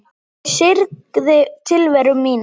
Ég syrgði tilveru mína.